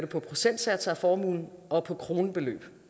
på procentsatser af formuen og på kronebeløb